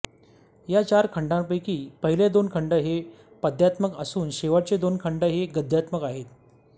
या चार खंडांपैकी पहिले दोन खंड हे पद्यात्मक असून शेवटचे दोन खंड हे गद्यात्मक आहेत